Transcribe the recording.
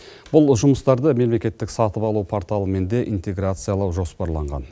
бұл жұмыстарды мемлекеттік сатып алу порталымен де интеграциялау жоспарланған